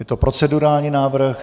Je to procedurální návrh.